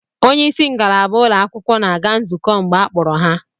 Onye isi ngalaba ụlọakwụkwọ na-aga nzukọ mgbe a kpọrọ ha